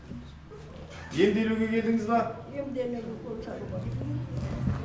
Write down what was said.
емделуге келдіңіз ба емделуге укол салуға